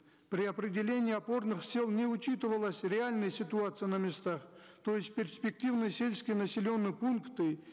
при определении опорных сел не учитывалась реальная ситуация на местах то есть перспективные сельские населенные пункты